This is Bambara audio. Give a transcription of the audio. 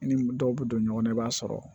I ni dɔw bɛ don ɲɔgɔn na i b'a sɔrɔ